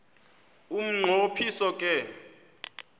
umnqo phiso ke